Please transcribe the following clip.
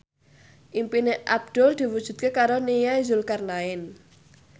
impine Abdul diwujudke karo Nia Zulkarnaen